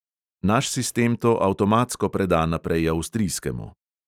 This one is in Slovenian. Naš sistem to avtomatsko preda naprej avstrijskemu.